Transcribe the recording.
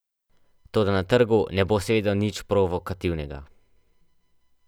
Toda na trgu ne bo seveda nič provokativnega.